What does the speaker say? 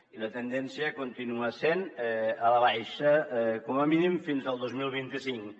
i la tendència continua sent a la baixa com a mínim fins al dos mil vint cinc